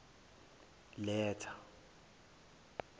letha